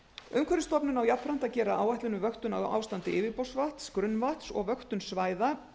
umhverfisstofnun á jafnframt að gera áætlun um vöktun á ástandi yfirborðsvatns grunnvatns og vöktun svæða